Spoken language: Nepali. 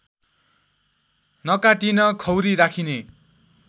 नकाटीन खौरी राखिने